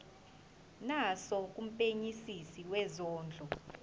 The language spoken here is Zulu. naso kumphenyisisi wezondlo